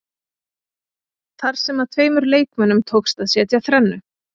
Þar sem að tveimur leikmönnum tókst að setja þrennu.